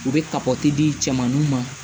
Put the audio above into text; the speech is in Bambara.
U bɛ kabɔti di cɛmanninw ma